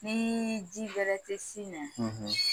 Ni ji bɛrɛ tɛ sin na.